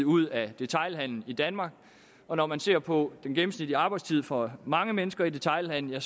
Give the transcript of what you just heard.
ud af detailhandelen i danmark og når man ser på den gennemsnitlige arbejdstid for mange mennesker i detailhandelen